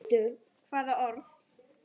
Hvaða orð?